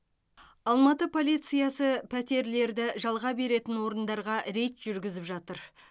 алматы полициясы пәтерлерді жалға беретін орындарға рейд жүргізіп жатыр